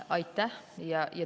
Aitäh!